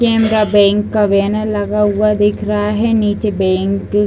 Canara bank का बैनर लगा हुआ दिख रहा है। नीचे बैंक --